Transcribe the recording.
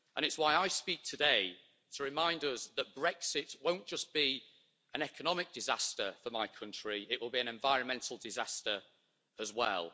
And it is why I speak today to remind us that Brexit won't just be an economic disaster for my country, it will be an environmental disaster as well.